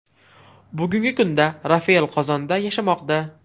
Bugungi kunda Rafael Qozonda yashamoqda.